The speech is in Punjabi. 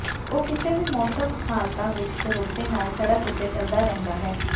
ਉਹ ਕਿਸੇ ਵੀ ਮੌਸਮ ਹਾਲਤਾਂ ਵਿਚ ਭਰੋਸੇ ਨਾਲ ਸੜਕ ਉੱਤੇ ਚਲਦਾ ਰਹਿੰਦਾ ਹੈ